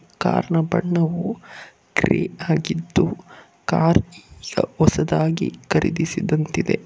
Car ನ ಬಣ್ಣವೂ ಕರಿ ಆಗಿದ್ದು ಕಾರ್ ಸ ಹೊಸದಾಗಿ ಖರೀದಿಸಿದಂತಿದೆ.